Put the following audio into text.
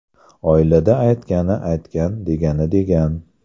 Oilada aytgani aytgan, degani degan.